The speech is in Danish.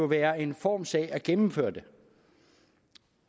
være en formssag at gennemføre det